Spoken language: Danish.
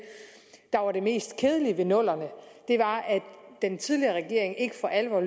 der var det mest kedelige ved nullerne var at den tidligere regering ikke for alvor